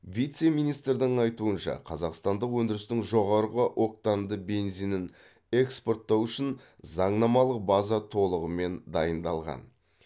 вице министрдің айтуынша қазақстандық өндірістің жоғарғы октанды бензинін экспорттау үшін заңнамалық база толығымен дайындалған